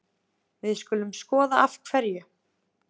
Við skulum skoða af hverju.